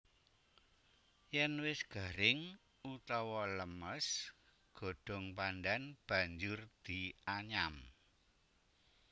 Yen wis garing utawa lemes godhong pandhan banjur dianyam